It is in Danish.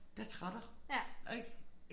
Der trætter ik